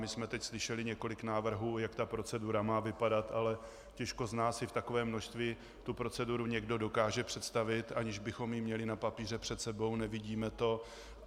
My jsme teď slyšeli několik návrhů, jak ta procedura má vypadat, ale těžko z nás si v takovém množství tu proceduru někdo dokáže představit, aniž bychom ji měli na papíře před sebou, nevidíme to.